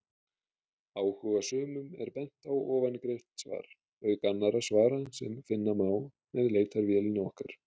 Áhugasömum er bent á ofangreint svar, auk annarra svara sem finna má með leitarvélinni okkar.